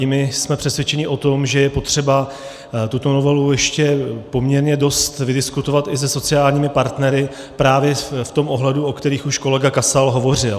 I my jsme přesvědčeni o tom, že je potřeba tuto novelu ještě poměrně dost vydiskutovat i se sociálními partnery právě v tom ohledu, o kterém už kolega Kasal hovořil.